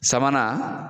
Sabanan